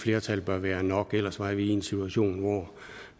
flertal bør være nok ellers var vi i en situation hvor